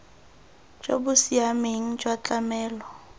jo bo siameng jwa tlamelo